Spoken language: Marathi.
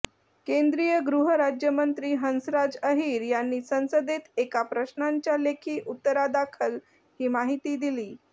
केंद्रीय गृहराज्यमंत्री हंसराज अहीर यांनी संसदेत एका प्रश्नाच्या लेखी उत्तरादाखल ही माहिती दिली